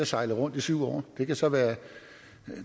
sejlet rundt i syv år det kan så være